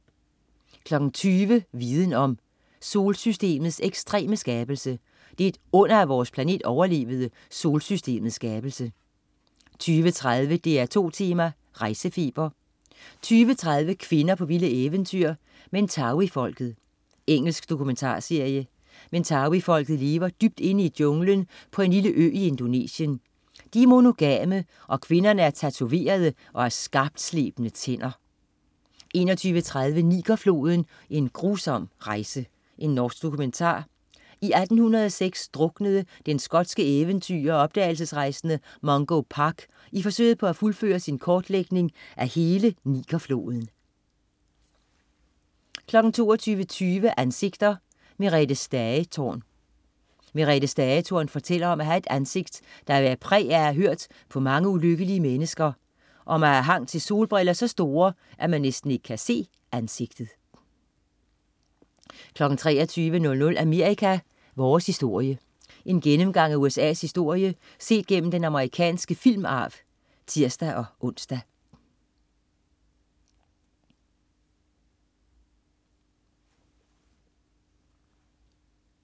20.00 Viden om. Solsystemets ekstreme skabelse. Det er et under, at vores planet overlevede solsystemets skabelse 20.30 DR2 Tema: Rejsefeber 20.30 Kvinder på vilde eventyr. Mentawai-folket. Engelsk dokumentarserie. Mentawai-folket lever dybt inde i junglen på en lille ø i Indonesien. De er monogame, og kvinderne er tatoverede og har skarpslebne tænder 21.30 Niger-floden, en grusom rejse. Norsk dokumentar. I 1806 druknede den skotske eventyrer og opdagelsesrejsende Mungo Park i forsøget på at fuldføre sin kortlægning af hele Niger-floden 22.20 Ansigter: Merethe Stagetorn. Merethe Stagetorn fortæller om at have et ansigt, der bærer præg af at have hørt på mange ulykkelige mennesker, og om at have hang til solbriller så store, at man næsten ikke kan se ansigtet 23.00 Amerika: Vores historie. En gennemgang af USA's historie set gennem den amerikanske filmarv (tirs-ons)